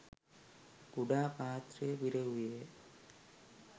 කුඩා පාත්‍රය පිරවුයේය